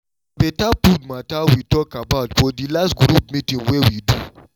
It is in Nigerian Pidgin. na better food matter we talk about for the last group meeting wey we do